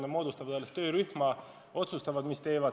Nad moodustavad alles töörühma, otsustavad, mida teevad.